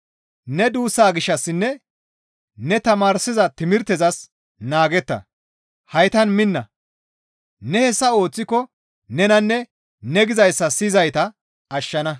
Ne duussaa gishshassinne ne tamaarsiza timirtezas naagetta; haytan minna; ne hessa ooththiko nenanne ne gizayssa siyizayta ashshana.